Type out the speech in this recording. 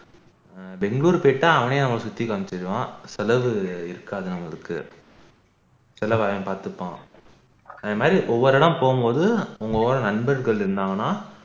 பெங்களூர் போயிட்டா அவனே அவன் சுத்தி காமிச்சிடுவான் செலவு இருக்காது நம்மளுக்கு செலவ அவன் பார்த்துப்பான அதே மாதிரி ஒவ்வொரு இடம் போகும் போது நம்ம கூட நண்பர்கள் இருந்தாங்கன்னா